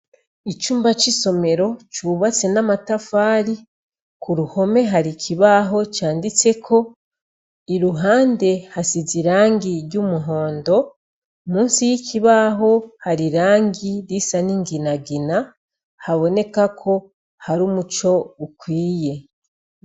Icumba c'isomero cubatse n'amatafari ku ruhome hari ikibaho canditse ko i ruhande hasize i rangi ry'umuhondo musi y'ikibaho hari rangi risa n'inginagina haboneka ko hari umuco ukwiye.